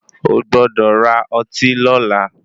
O gbọ́dọ̀ ra ọtí lọla.